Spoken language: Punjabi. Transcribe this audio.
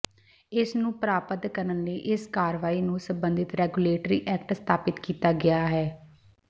ਇਸ ਨੂੰ ਪ੍ਰਾਪਤ ਕਰਨ ਲਈ ਇਸ ਕਾਰਵਾਈ ਨੂੰ ਸਬੰਧਤ ਰੈਗੂਲੇਟਰੀ ਐਕਟ ਸਥਾਪਿਤ ਕੀਤਾ ਗਿਆ ਹੈ